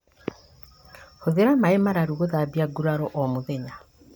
Hũthĩra maĩ mararu gũthambia nguraro o mũthenya